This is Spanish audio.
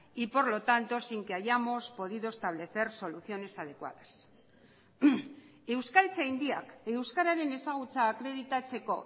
y por lo tanto sin que hayamos podido establecer soluciones adecuadas euskaltzaindiak euskararen ezagutza akreditatzeko